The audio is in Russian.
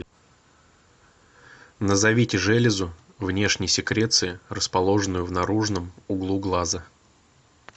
назовите железу внешней секреции расположенную в наружном углу глаза